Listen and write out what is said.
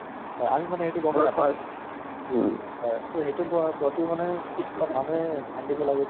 ভাল লাগিলে মানে। আগৰ scene কেইটামান আগৰ আগৰ সময়ত কেনʼকা পৰিস্থিতি আছিলে, কেনেকুৱা মানুহ কেটা আছিলে